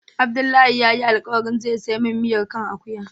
Abdullahi ya yi alkawali zai siya min miyan kan akuya